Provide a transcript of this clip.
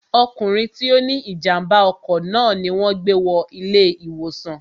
ọkùnrin tí ó ní ìjàmbá ọkọ̀ náà ni wọn gbé wọ ilé ìwòsàn